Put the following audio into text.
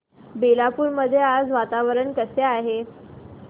बेलापुर मध्ये आज वातावरण कसे आहे